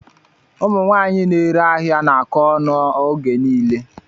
Ụmụ nwaanyị na-ere ahịa na-akọ ọnụ oge niile.